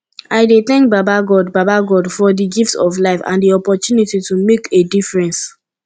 i dey thank baba god baba god for di gift of life and di opportunity to make a difference